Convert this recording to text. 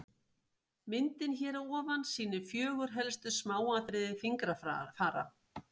myndin hér fyrir ofan sýnir fjögur helstu smáatriði fingrafara